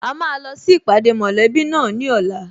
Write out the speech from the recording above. A máa lọ sí ìpàdé mọ̀lẹ́bí náà ní ọ̀la